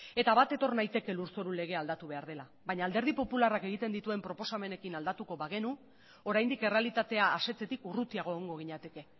eta bat etor naiteke lurzoru legea aldatu behar dela baina alderdi popularrak egiten dituen proposamenekin aldatuko bagenu oraindik errealitatea asetzetik urrutiago egongo ginateke